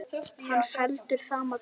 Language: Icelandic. Hann var felldur sama dag.